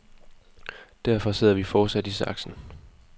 Derfor sidder vi fortsat i saksen.